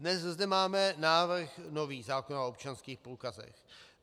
Dnes zde máme nový návrh zákona o občanských průkazech.